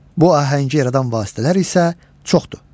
Bu ahəngi yaradan vasitələr isə çoxdur.